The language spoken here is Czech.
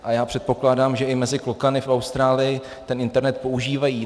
A já předpokládám, že i mezi klokany v Austrálii ten internet používají.